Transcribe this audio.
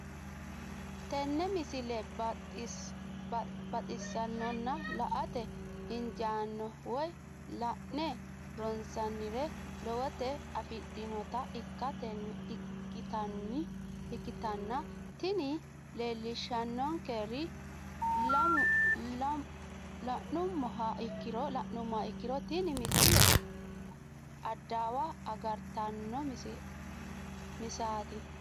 tenne misile baxisannonna la"ate injiitanno woy la'ne ronsannire lowote afidhinota ikkitanna tini leellishshannonkeri la'nummoha ikkiro tini misile adawa agartanno bissaati.